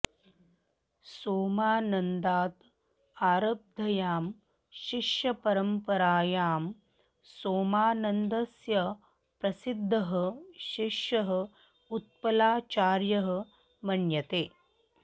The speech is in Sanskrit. सोमानन्दाद् आरब्धायां शिष्यपरम्परायां सोमानन्दस्य प्रसिद्धः शिष्यः उत्पलाचार्यः मन्यते